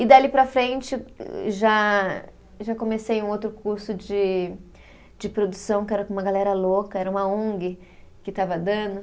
E dali para frente, já já comecei um outro curso de de produção, que era com uma galera louca, era uma Ong que estava dando.